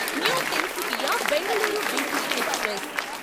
new Tinsukia Bengaluru weekly express